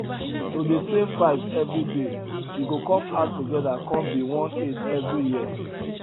to dey save five every day e go come add together come be one eight every year